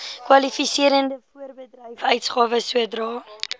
kwalifiserende voorbedryfsuitgawes sodra